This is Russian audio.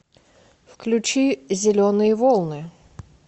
включи зеленые волны